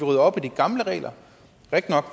rydder op i de gamle regler